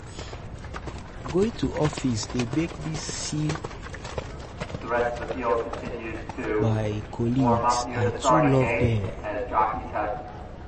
Going to office dey make me see my me see my colleagues, I too love dem.